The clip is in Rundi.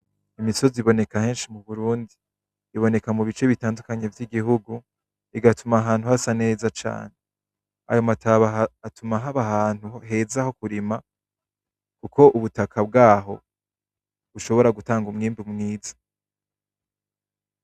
Iyo misozi iboneka henshi mu Burundi iboneka mu bice bitandukanye vy'igihugu igatuma ahantu hasa neza cane ayo mataba atuma haba ahantu heza ho kurima kuko ubutaka bwaho bushobora gutanga umwimbu mwiza.